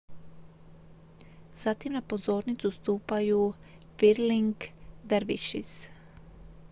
zatim na pozornicu stupaju whirling dervishes